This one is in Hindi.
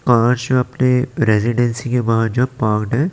अपने रेजिडेंसी के बाहर जो है।